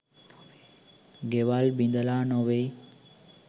ගෙවල් බිඳලා නොවෙයි